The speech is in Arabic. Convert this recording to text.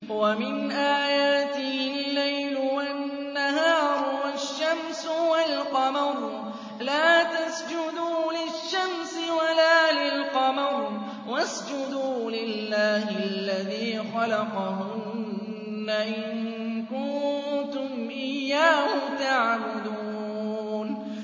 وَمِنْ آيَاتِهِ اللَّيْلُ وَالنَّهَارُ وَالشَّمْسُ وَالْقَمَرُ ۚ لَا تَسْجُدُوا لِلشَّمْسِ وَلَا لِلْقَمَرِ وَاسْجُدُوا لِلَّهِ الَّذِي خَلَقَهُنَّ إِن كُنتُمْ إِيَّاهُ تَعْبُدُونَ